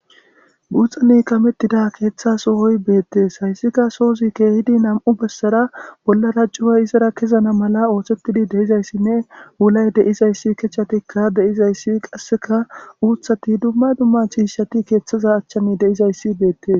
Buuxane kamettida keeththa sohoy beettees hayssika soozi keehidi nam7u bessara bollarajjuay izara kezana mala oothettidi deizayssinne wulay deizayssi kechatikka deizayssi qasseka uuthati dumma dumma chiishshati keeththaza achchani deizayssi beettee